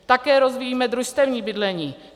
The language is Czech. Také rozvíjíme družstevní bydlení.